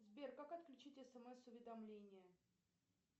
сбер как отключить смс уведомления